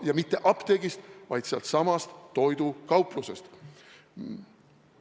Ja mitte apteegist, vaid sealtsamast toidukaplusest.